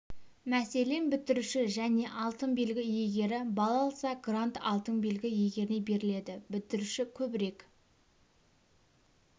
мәселен бітіруші және алтын белгі иегері балл алса грант алтын белгі иегеріне беріледі бітіруші көбірек